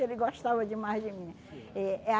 Ele gostava demais de mim. Eh